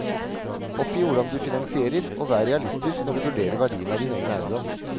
Oppgi hvordan du finansierer, og vær realistisk når du vurderer verdien av din egen eiendom.